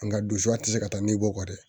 Nga donsu a tɛ se ka taa ni bɔ kɔ dɛ